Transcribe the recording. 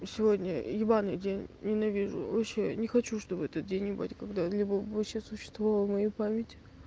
сегодня ебанный день ненавижу вообще не хочу чтобы этот день ебать когда-либо вообще существовал в моей память